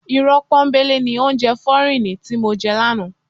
Irọ́ pọ́nńbélé ni oúnjẹ fọ́ríìnì ti mo jẹ lánàá.